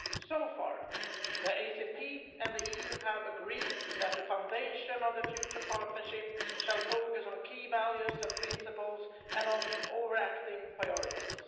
So far, the ACP and the EU have agreed that the foundation of the future partnership shall focus on key values and principles and on overarching priorities.